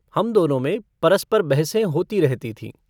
हम दोनों में परस्पर बहसें होती रहती थीं।